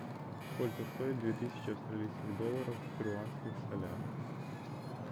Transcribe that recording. сколько стоит две тысячи австралийских долларов в перуанских солях